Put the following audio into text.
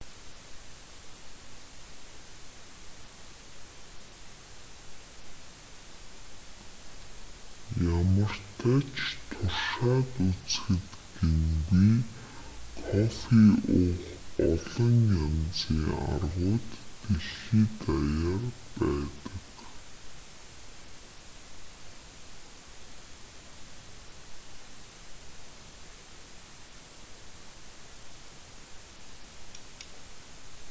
ямартай ч туршаад үзэхэд гэмгүй кофе уух олон янзын аргууд дэлхий даяар байдаг